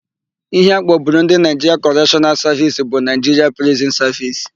Íhé a kpọburu Ndị Naịjiria Kọreshọnal Savisi bụ Naịjiria Prizin Savisi.